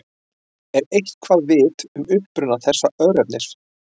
Er eitthvað vitað um uppruna þessa örnefnis?